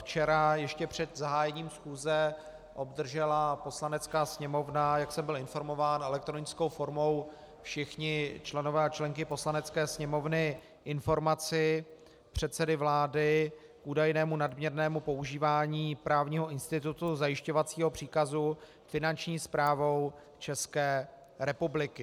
Včera ještě před zahájením schůze obdržela Poslanecká sněmovna, jak jsem byl informován, elektronickou formou, všichni členové a členky Poslanecké sněmovny, informaci předsedy vlády k údajnému nadměrnému používání právního institutu zajišťovacího příkazu Finanční správou České republiky.